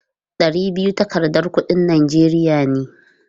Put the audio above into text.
Ɗari biyu takardar kuɗin Najeriya ne.